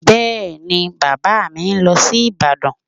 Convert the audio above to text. Bẹ́ẹ̀ni, Bàbá mi ń lọ sí Ìbàdàn